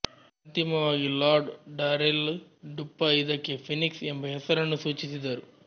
ಅಂತಿಮವಾಗಿ lord Darrell Duppa ಇದಕ್ಕೆ Phoenix ಎಂಬ ಹೆಸರನ್ನು ಸೂಚಿಸಿದರು